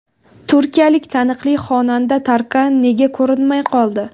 Turkiyalik taniqli xonanda Tarkan nega ko‘rinmay qoldi?